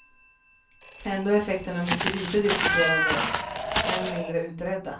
Ändå är effekterna mycket lite diskuterade, än mindre utredda.